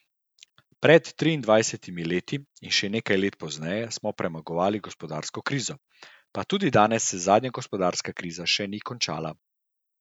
Pred triindvajsetimi leti in še nekaj let pozneje smo premagovali gospodarsko krizo, pa tudi danes se zadnja gospodarska kriza še ni končala.